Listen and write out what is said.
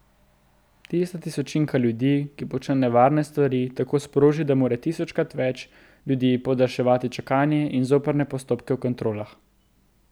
Tista tisočinka ljudi, ki počne nevarne stvari, tako sproži, da mora tisočkrat več ljudi podaljševati čakanje in zoprne postopke v kontrolah.